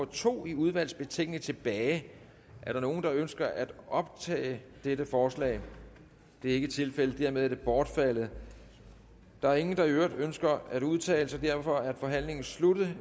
to i udvalgets betænkning tilbage er der nogen der ønsker at optage dette forslag det er ikke tilfældet dermed er det bortfaldet der er ingen der i øvrigt ønsker at udtale sig og derfor er forhandlingen sluttet